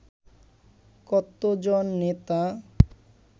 কতজন নেতা